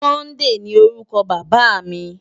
Sunday ni órùkò Baba mi